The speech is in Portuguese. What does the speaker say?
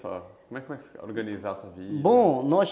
Como como é, organizar a sua vida? Bom,